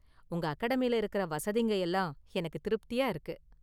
உங்க அகாடமில இருக்குற வசதிங்க எல்லாம் எனக்கு திருப்தியா இருக்கு.